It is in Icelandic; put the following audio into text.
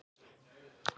þú og þessi Jói?